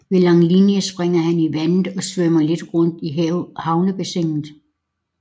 Ved Langelinie springer han i vandet og svømmer lidt rundt i havnebassinet